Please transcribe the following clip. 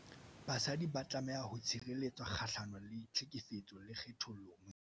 Basadi ba tlameha ho tshireletswa kgahlano le tlhekefetso le kgethollo mosebetsing.